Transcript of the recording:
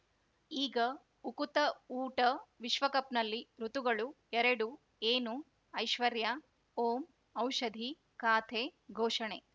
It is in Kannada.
ಈಗ ಉಕುತ ಊಟ ವಿಶ್ವಕಪ್‌ನಲ್ಲಿ ಋತುಗಳು ಎರಡು ಏನು ಐಶ್ವರ್ಯಾ ಓಂ ಔಷಧಿ ಖಾತೆ ಘೋಷಣೆ